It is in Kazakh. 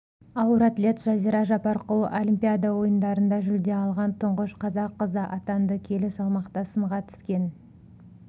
ауыр атлет жазира жапарқұл олимпиада ойындарында жүлде алған тұңғыш қазақ қызы атанды келі салмақта сынға түскен